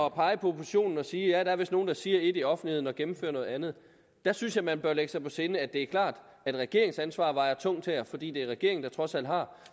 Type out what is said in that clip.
at pege på oppositionen og sige at ja der er vist nogen der siger ét i offentligheden og gennemfører noget andet der synes jeg man bør lægge sig på sinde at det er klart at et regeringsansvar vejer tungt her fordi det er regeringen der trods alt har